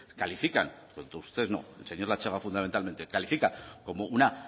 califican todos ustedes no el señor latxaga fundamentalmente califica como una